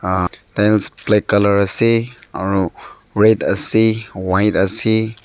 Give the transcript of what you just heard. ah tiles black colour ase aro red ase white ase.